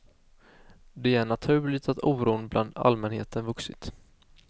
Det är naturligt att oron bland allmänheten vuxit.